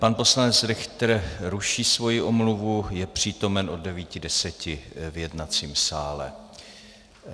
Pan poslanec Richter ruší svoji omluvu, je přítomen od 9.10 v jednacím sále.